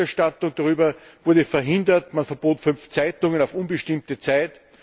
Und die Berichterstattung darüber wurde verhindert, man verbot fünf Zeitungen auf unbestimmte Zeit.